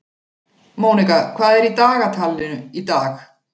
Mónika, hvað er í dagatalinu í dag?